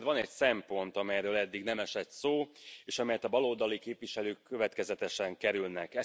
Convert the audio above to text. Ugyanakkor van egy szempont, amelyről eddig nem esett szó, és amelyet a baloldali képviselők következetesen kerülnek.